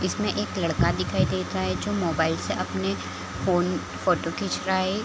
इसमें एक लड़का दिखाई दे रहा है जो मोबाइल से अपने फोन फोटो खींच रहा है ।